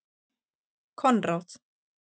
Konráð